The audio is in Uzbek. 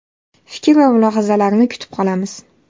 Fikr va mulohazalarni kutib qolamiz.